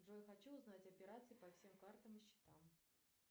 джой хочу узнать операции по всем картам и счетам